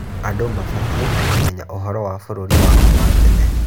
Andũ mabatiĩ kũmenya ũhoro wa bũrũri wao wa tene.